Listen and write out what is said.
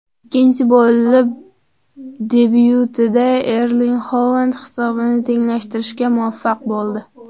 Ikkinchi bo‘lim debyutida Erling Holand hisobni tenglashtirishga muvaffaq bo‘ldi.